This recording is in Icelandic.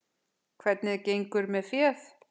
Hvernig gengur með féð?